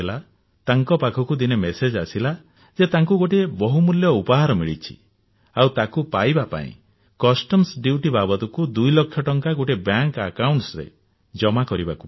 ତାଙ୍କ ପାଖକୁ ଦିନେ ମେସେଜ ଆସିଲା ଯେ ତାଙ୍କୁ ଗୋଟିଏ ବହୁମୂଲ୍ୟ ଉପହାର ମିଳିଛି ଆଉ ତାକୁ ପାଇବା ପାଇଁ ବହିର୍ଶୁଳ୍କ ବାବଦକୁ ଦୁଇ ଲକ୍ଷ ଟଙ୍କା ଗୋଟିଏ ବ୍ୟାଙ୍କ ଏକାଉଂଟରେ ଜମା କରିବାକୁ ପଡିବ